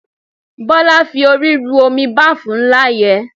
Bọ́lá fi orí ru omi báàfù ńlá yẹn.